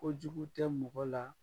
ko Jugu tɛ mɔgɔ la